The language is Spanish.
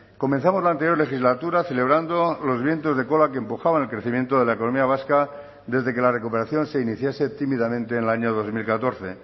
comenzamos la anterior legislatura celebrando los vientos de cola que empujaban el crecimiento de la economía vasca desde que la recuperación se iniciase tímidamente en el año dos mil catorce